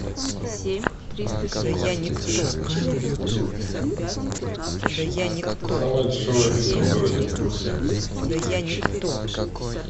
самая дешевая пицца в городе